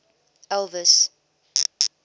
elvis